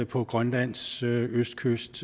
på grønlands østkyst